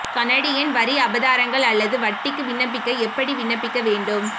Canadian வரி அபராதங்கள் அல்லது வட்டிக்கு விண்ணப்பிக்க எப்படி விண்ணப்பிக்க வேண்டும்